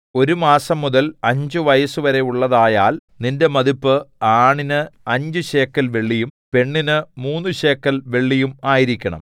ഒരു മാസംമുതൽ അഞ്ച് വയസ്സുവരെയുള്ളതായാൽ നിന്റെ മതിപ്പ് ആണിന് അഞ്ച് ശേക്കെൽ വെള്ളിയും പെണ്ണിന് മൂന്നു ശേക്കെൽ വെള്ളിയും ആയിരിക്കണം